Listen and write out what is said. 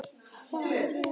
Hvað af þessu er komið?